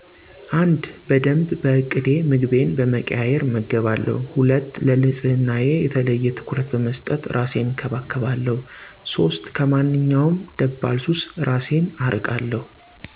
፩) በደንብ በእቅድ ምግቤን በመቀያየር እመገባለሁ። ፪) ለንጽህናየ የተለየ ትኩረት በመስጠት እራሴን እንከባከባለሁ። ፫) ከማንኛውም ደባል ሱስ እራሴን አርቃለሁ።